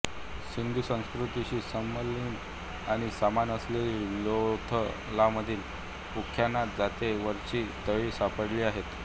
सिंधुसंस्कृतीशी समकालीन आणि समान असलेल्या लोथलमधील उत्खननात जाते वरची तळी सापडली आहेत